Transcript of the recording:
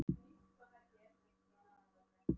Svo kom að því að Örn Höskuldsson dró upp dómsbók